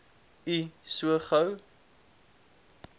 u so gou